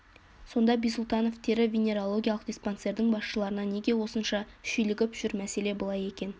сонда бисұлтанов тері-венереологиялық диспансердің басшыларына неге осынша шүйлігіп жүр мәселе былай екен